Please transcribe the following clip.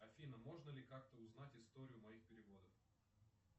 афина можно ли как то узнать историю моих переводов